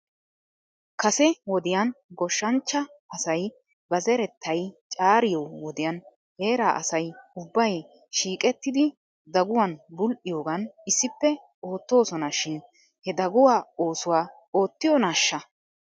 Kase wodiyan goshshanchcha asay ba zerettay caariyoo wodiyan heeraa asay ubbay shiiqettidi daguwan bul"iyoogan issippe oottoosona shin he daguwaa oosuwaa oottiyoonaashsha?